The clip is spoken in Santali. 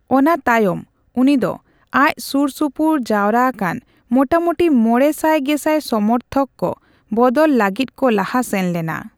ᱚᱱᱟ ᱛᱟᱭᱚᱢ ᱩᱱᱤ ᱫᱚ ᱟᱡ ᱥᱩᱨᱼᱥᱩᱯᱩᱨ ᱡᱟᱣᱨᱟ ᱟᱠᱟᱱ ᱢᱚᱴᱟᱢᱚᱴᱤ ᱢᱚᱲᱮ ᱥᱟᱭ ᱜᱮᱥᱟᱭ ᱥᱚᱢᱚᱨᱛᱷᱚᱠ ᱠᱚ ᱵᱚᱫᱚᱞ ᱞᱟᱹᱜᱤᱫ ᱠᱚ ᱞᱟᱦᱟ ᱥᱮᱱ ᱞᱮᱱᱟ᱾